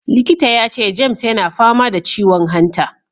Likita ya ce James yana fama da ciwon hanta.